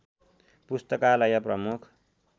पुस्तकालय प्रमुख